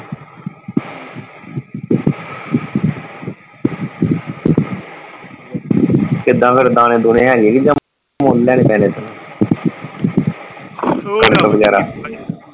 ਕਿੱਦਾਂ ਫੇਰ ਦਾਣੇ ਦੂਣੇ ਹੈਗੇ ਕੇ ਜਾਂ ਮੁੱਲ ਲੈਣੇ ਪੈਣੇ ਵਗੈਰਾ।